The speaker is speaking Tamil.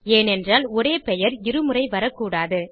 ஏனென்றால் ஒரே பெயர் இரு முறை வரக்கூடாது